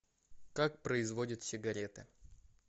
как производят сигареты